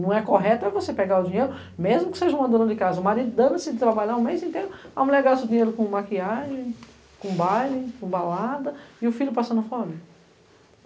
Não é correto é você pegar o dinheiro, mesmo que seja uma dona de casa, uma maridana, se trabalhar o mês inteiro, a mulher gasta o dinheiro com maquiagem, com baile, com balada, e o filho passando fome.